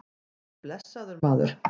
Nei, blessaður, maður.